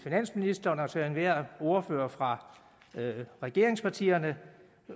finansministeren og til enhver af ordførerne fra regeringspartierne